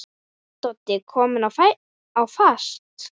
Vá, Doddi kominn á fast!